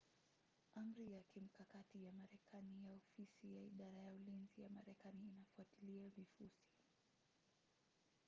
amri ya kimkakati ya marekani ya ofisi ya idara ya ulinzi ya marekani inafuatilia vifusi